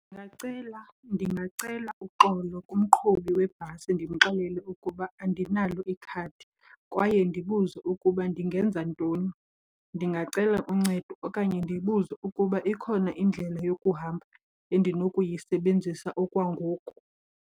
Ndingacela ndingacela uxolo kumqhubi webhasi ndimxelele ukuba andinalo ikhadi kwaye ndibuze ukuba ndingenza ntoni. Ndingacela uncedo okanye ndibuze ukuba ikhona indlela yokuhamba endinokuyisebenzisa okwangoku.